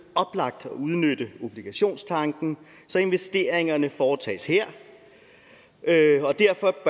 oplagt at udnytte obligationstanken så investeringerne foretages her og derfor